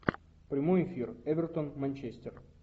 прямой эфир эвертон манчестер